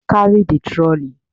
Carry the trolley.